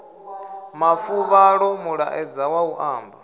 mafuvhalo mulaedza wa u amba